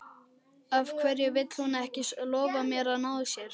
Af hverju vill hún ekki lofa mér að ná sér?